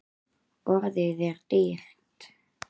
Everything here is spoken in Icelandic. Orðið er dýrt.